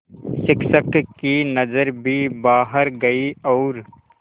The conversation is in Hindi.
शिक्षक की नज़र भी बाहर गई और